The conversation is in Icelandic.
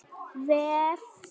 vef SKE.